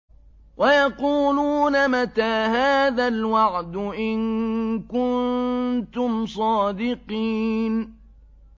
وَيَقُولُونَ مَتَىٰ هَٰذَا الْوَعْدُ إِن كُنتُمْ صَادِقِينَ